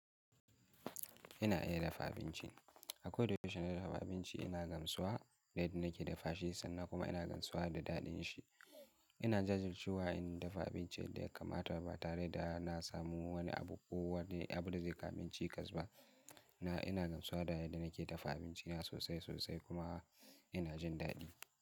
Ina iya dafa abinci. Ako da yaushe na dafa abinci ina gamsuwa da yadda nake dafa shi sannan kuma ina gamsuwa da daɗin shi. Ina jajirce wa yayin dafa abinci yadda ya kamata ba tare da na samu wani abu ko wani abu da zai kama ni cikas ba. Ina, ina gamsuwa da yadda nake dafa abinci na sosai sosai kuma ina jin daɗi.